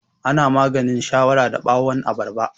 Ana maganin shawara da ɓawan abarba